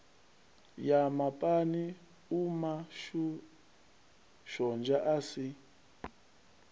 ya mapani umashonzha a si